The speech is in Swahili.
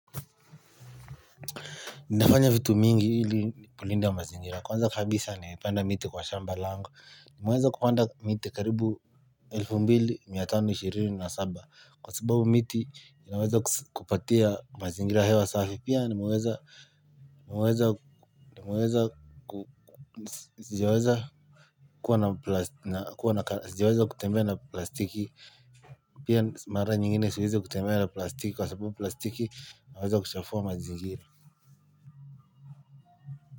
Nafanya vitu mingi ili kulinda mazingira kwanza kabisa nimepanda miti kwa shamba langu nimeweza kupanda miti karibu 2527 kwa sababu miti naweza kupatia mazingira hewa safi pia nimeweza nimeweza sijaweza kutembea na plastiki pia mara nyingine siweza kutembea na plastiki kwa sababu plastiki naweza kuchafua mazingira.